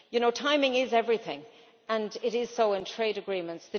You know, timing is everything, and it is so in trade agreements.